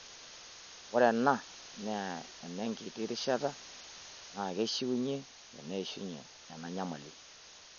Ore ena naa enenkiti rishata naa keishunye teneishunye ena nyamali.